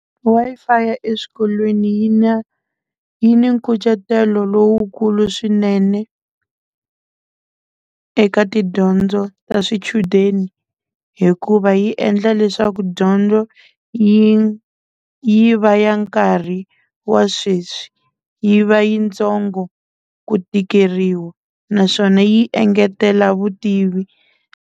Wi-Fi eswikolweni yi na yi ni nkucetelo lowukulu swinene eka tidyondzo ta swichudeni hikuva yi endla leswaku dyondzo yi yi va ya nkarhi wa sweswi yi va yi ntsongo ku tikeriwa naswona yi engetela vutivi.